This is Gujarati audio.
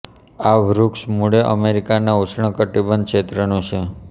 આ વૃક્ષ મૂળે અમેરિકાના ઉષ્ણ કટિબંધ ક્ષેત્રનું છે